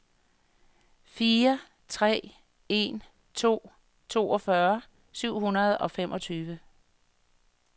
fire tre en to toogfyrre syv hundrede og femogtyve